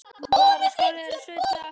Bros færist yfir vinstri menn.